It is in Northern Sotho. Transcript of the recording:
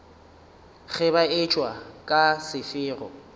ge ba etšwa ka sefero